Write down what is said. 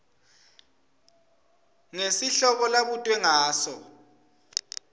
ngesihloko labutwe ngaso